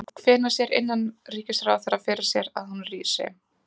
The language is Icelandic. En hvenær sér innanríkisráðherra fyrir sér að hún rísi?